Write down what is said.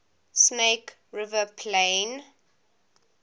snake river plain